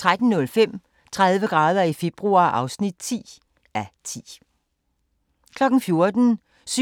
13:05: 30 grader i februar (10:10) 14:00: 7-9-13